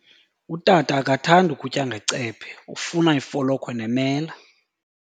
Utata akathandi kutya ngecephe, ufuna ifolokhwe nemela.